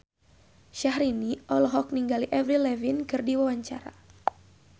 Syahrini olohok ningali Avril Lavigne keur diwawancara